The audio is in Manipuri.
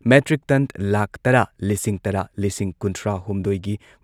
ꯃꯦꯇ꯭ꯔꯤꯛ ꯇꯟ ꯂꯥꯈ ꯇꯔꯥ ꯂꯤꯁꯤꯡ ꯇꯔꯥ ꯂꯤꯁꯤꯡ ꯀꯨꯟꯊ꯭ꯔꯥꯍꯨꯝꯗꯣꯏꯒꯤ